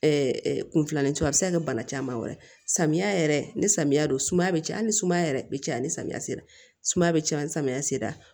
kunfilaninci a bɛ se ka kɛ bana caman wɛrɛ ye samiya yɛrɛ ni samiya don sumaya be caya hali ni sumaya yɛrɛ be caya ni samiya sera sumaya be caya ni samiya sera